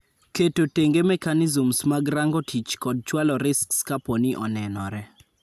Keto tenge mechanisms mag rango tich kod chwalo risks kapooni onenore